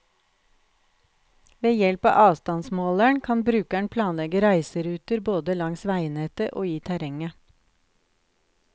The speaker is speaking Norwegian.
Ved hjelp av avstandsmåleren kan brukeren planlegge reiseruter, både langs veinettet og i terrenget.